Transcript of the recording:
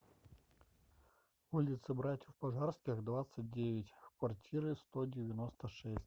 улицы братьев пожарских двадцать девять в квартиры сто девяносто шесть